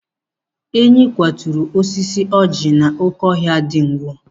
Enyi kwaturu osisi ọjị n'oké ọhịa dị Ngwo.